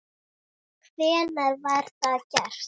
Hvenær var það gert?